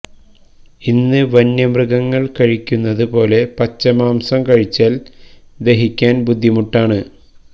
ഇന്ന് വന്യമൃഗങ്ങള് കഴിക്കുന്നത് പോലെ പച്ച മാംസം കഴിച്ചാല് ദഹിക്കാന് ബുദ്ധിമുട്ടാണ്